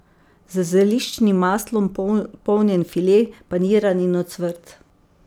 Z zeliščnim maslom polnjen file, paniran in ocvrt.